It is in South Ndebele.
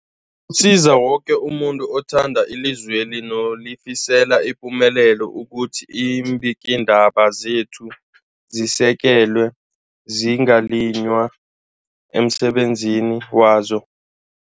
Kusiza umuntu woke othanda ilizweli nolifisela ipumelelo ukuthi iimbikiindaba zekhethu zisekelwe, zingaliywa emsebenzini wazo.